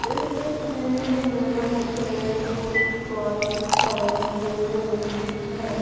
इस तस्वीर में मुझे कुछ बाइक दिखाई दे रही है।